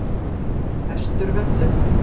Vesturvöllum